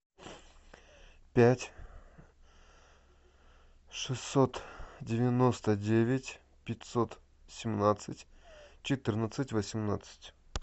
пять шестьсот девяносто девять пятьсот семнадцать четырнадцать восемнадцать